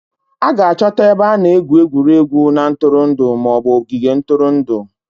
A ga-achọta ebe a na-egwu egwuregwu na ntụrụndụ ma ọ bụ ogige ntụrụndụ